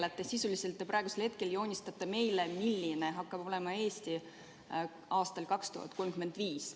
Te sisuliselt praegu joonistate meile, milline hakkab olema Eesti aastal 2035.